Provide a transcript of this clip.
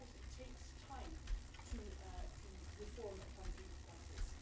It takes time to reform a country like this.